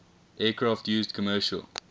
aircraft used commercial